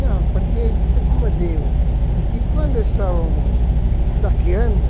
Não, porque, como eu digo, de que quando estávamos saqueando,